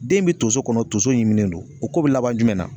Den be tonso kɔnɔ tonso ɲimi le don o ko bɛ laban jumɛn na